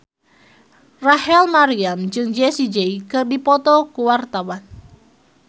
Rachel Maryam jeung Jessie J keur dipoto ku wartawan